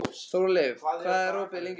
Þórleif, hvað er opið lengi á föstudaginn?